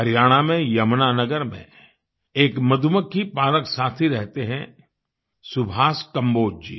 हरियाणा में यमुनानगर में एक मधुमक्खी पालक साथी रहते हैं सुभाष कंबोज जी